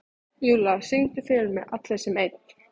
Júlla, syngdu fyrir mig „Allir sem einn“.